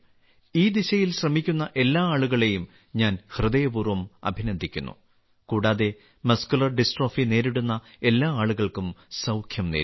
ഈ ദിശയിൽ ശ്രമിക്കുന്ന എല്ലാ ആളുകളെയും ഞാൻ ഹൃദയപൂർവ്വം അഭിനന്ദിക്കുന്നു കൂടാതെ മസ്കുലർ ഡിസ്ട്രോഫി നേരിടുന്ന എല്ലാ ആളുകൾക്കും സൌഖ്യം നേരുന്നു